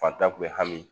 Fantan kun bɛ hami